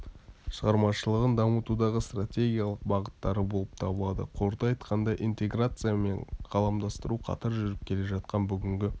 шығармашылығын дамытудағы стратегиялық бағыттары болып табылады қорыта айтқанда интеграция мен ғаламдастыру қатар жүріп келе жатқан бүгінгі